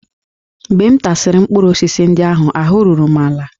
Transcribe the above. Mgbe m tasịrị mkpụrụ osisi ndị ahụ, ahụ́ ruru m ala